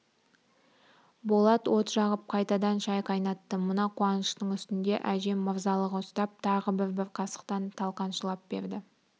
болат от жағып қайтадан шай қайнатты мына қуаныштың үстінде әжем мырзалығы ұстап тағы бір-бір қасықтан талқан шылап берді